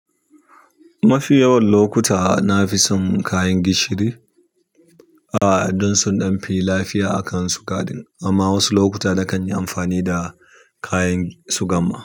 Mafi yawan lokuta na fi son kayan gishiri, aa, don sun ɗan fi lafiya a kansu kaɗan. Amma wasu lokuta na kan yi amfani da kayan shugan ma.